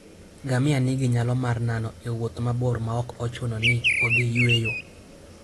Ngamia nigi nyalo mar nano e wuoth mabor maok ochuno ni odhi yueyo.